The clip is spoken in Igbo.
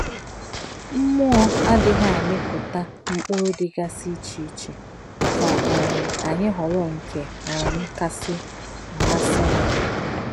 Mmụọ adịghị amịpụta mkpụrụ dịgasị iche iche ka um anyị họrọ nke um kasị amasị anyị.